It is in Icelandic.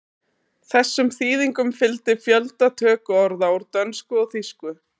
Þessum þýðingum fylgdi fjöldi tökuorða úr dönsku og þýsku.